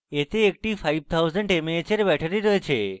এতে একটি 5000 mah এর ব্যাটারী রয়েছে